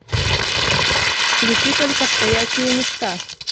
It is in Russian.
включи только стоячие места